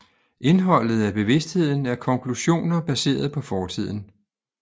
Indholdet af bevidstheden er konklusioner baseret på fortiden